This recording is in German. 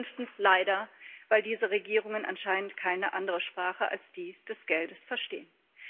Fünftens leider weil diese Regierungen anscheinend keine andere Sprache als die des Geldes verstehen.